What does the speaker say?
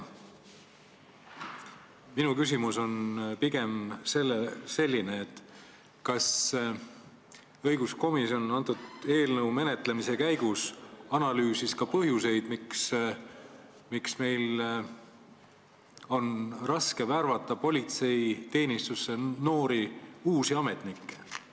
Minu küsimus on aga selline: kas õiguskomisjon analüüsis selle eelnõu menetlemise käigus ka põhjuseid, miks meil on raske värvata politseiteenistusse noori uusi ametnikke?